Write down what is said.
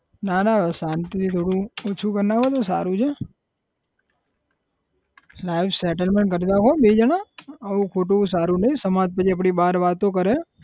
ના ના શાંતિથી થોડું ઓછું કર નાખો તો સારું છે life settlement કર નાખો બેય જણા આવું ખોટું સારું નઈ સમાજ પછી આપડી બાર વાતો કરે